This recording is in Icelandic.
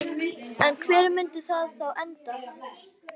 En hvar myndi það þá enda?